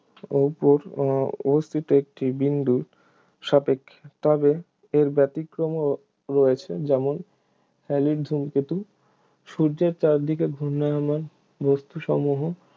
উপর উহ অবস্থিত একটি বিন্দুর সাপেক্ষে তবে এর ব্যতিক্রমও রয়েছে, যেমন হ্যালির ধূমকেতু সূর্যের চারদিকে ঘূর্ণায়মান বস্তুসমূহ